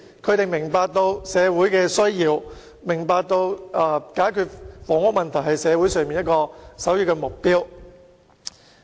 他們明白社會的需要，也明白解決房屋問題是社會的首要目標。